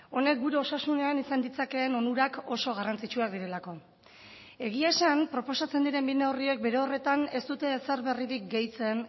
honek gure osasunean izan ditzakeen onurak oso garrantzitsuak direlako egia esan proposatzen diren bi neurriek bere horretan ez dute ezer berririk gehitzen